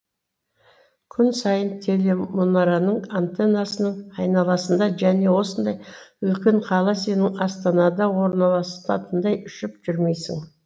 күн сайын телемұнараның антеннасының айналасында және осындай үлкен қала сенің астанада орналасатындай ұшып жүрмейсің